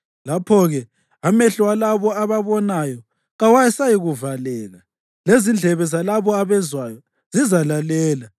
Lapho-ke amehlo alabo ababonayo kawasayikuvaleka, lezindlebe zalabo abezwayo zizalalela.